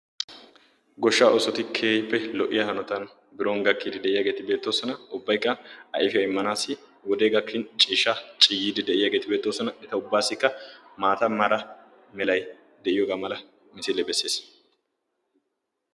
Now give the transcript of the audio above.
Goshshaa oosoti keehippe lo'iya hanottan biron gakkidi deiyageti beetosona. Ubbaykka ayfiyaa immanasi wode gakkin ciishshaa ciiyidi deiyageti beetosona. Eta ubbassika maataa meeray de'ees.